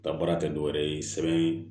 Ka baara kɛ dɔwɛrɛ ye sɛbɛn